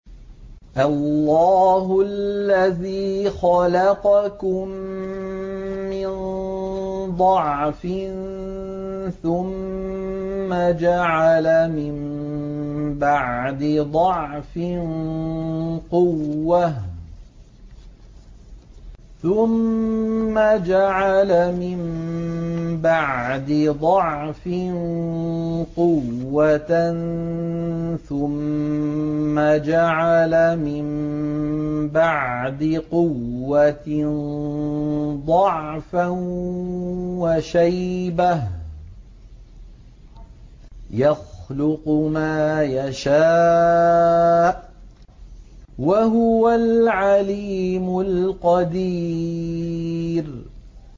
۞ اللَّهُ الَّذِي خَلَقَكُم مِّن ضَعْفٍ ثُمَّ جَعَلَ مِن بَعْدِ ضَعْفٍ قُوَّةً ثُمَّ جَعَلَ مِن بَعْدِ قُوَّةٍ ضَعْفًا وَشَيْبَةً ۚ يَخْلُقُ مَا يَشَاءُ ۖ وَهُوَ الْعَلِيمُ الْقَدِيرُ